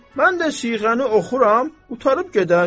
Mən də siğəni oxuyuram, qurtarıb gedər.